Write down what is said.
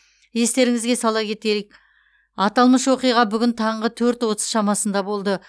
естеріңізге сала кетелік аталмыш оқиға бүгін таңғы төрт отыз шамасында болды